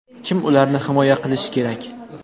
Kim ularni himoya qilishi kerak?